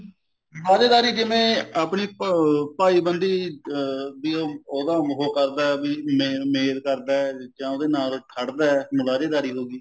ਮੁਲਾਜੇਦਾਰੀ ਜਿਵੇਂ ਆਪਣੀ ਭਾਈ ਬੰਦੀ ਅਹ ਵੀ ਉਹਦਾ ਉਹ ਕਰਦਾ ਵੀ ਮੇਲ ਮੇਲ ਕਰਦਾ ਜਾ ਉਹਦੇ ਨਾਲ ਖੜ੍ਹਦਾ ਮੁਲਾਜੇਦਾਰੀ ਹੋ ਗਈ